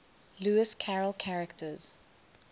lewis carroll characters